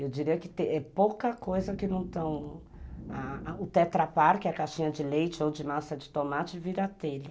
Eu diria que é pouca coisa que não estão... O tetra pak, que é a caixinha de leite ou de massa de tomate, vira telha.